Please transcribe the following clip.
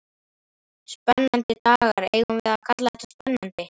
Spennandi dagar, eigum við að kalla þetta spennandi?